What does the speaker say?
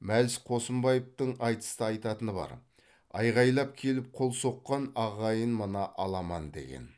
мәлс қосымбаевтың айтыста айтатыны бар айқайлап келіп қол соққан ағайын мына аламан деген